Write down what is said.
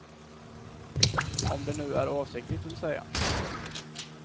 Om det nu är avsiktligt, vill säga.